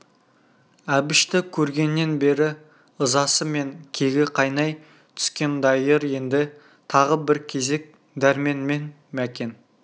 әбішті көргеннен бері ызасы мен кегі қайнай түскен дайыр енді тағы бір кезек дәрмен мен мәкен